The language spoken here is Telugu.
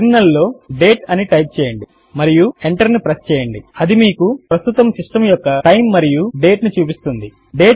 టెర్మినల్ లో డేట్ అని టైప్ చేయండి మరియు ఎంటర్ ను ప్రెస్ చేయండి అది మీకు ప్రస్తుతము సిస్టమ్ యొక్క టైమ్ మరియు డేట్ ను చూపిస్తుంది